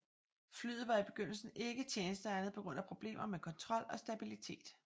Flyet var i begyndelsen ikke tjenesteegnet på grund af problemer med kontrol og stabillitet